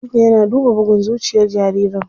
Likita yana duba bugun zuciyar jaririn.